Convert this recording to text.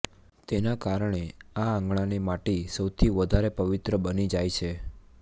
તેના કારણે આ આંગણાની માટી સૌથી વધારે પવિત્ર બની જાય છે